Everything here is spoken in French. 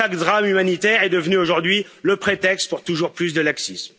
Chaque drame humanitaire est devenu aujourd'hui le prétexte pour toujours plus de laxisme.